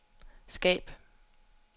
skab